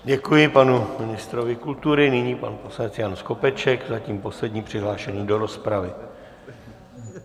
Děkuji panu ministru kultury, nyní pan poslanec Jan Skopeček, zatím poslední přihlášený do rozpravy.